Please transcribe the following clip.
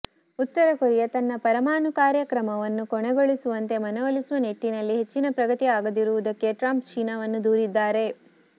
ಉತ್ತರ ಕೊರಿಯ ತನ್ನ ಪರಮಾಣು ಕಾರ್ಯಕ್ರಮವನ್ನು ಕೊನೆಗೊಳಿಸುವಂತೆ ಮನವೊಲಿಸುವ ನಿಟ್ಟಿನಲ್ಲಿ ಹೆಚ್ಚಿನ ಪ್ರಗತಿ ಆಗದಿರುವುದಕ್ಕೆ ಟ್ರಂಪ್ ಚೀನಾವನ್ನು ದೂರಿದ್ದಾರೆ